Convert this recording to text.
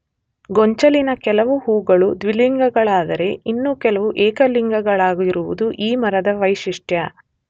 ಗೊಂಚಲಿನ ಕೆಲವು ಹೂಗಳು ದ್ವಿಲಿಂಗಗಳಾದರೆ ಇನ್ನು ಕೆಲವು ಏಕಲಿಂಗಳಾಗಿರುವುದು ಈ ಮರದ ವೈಶಿಷ್ಟ್ಯ.